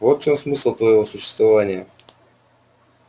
вот в чём смысл твоего существования